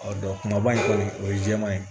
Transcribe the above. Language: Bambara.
kumaba in kɔni o ye jɛman ye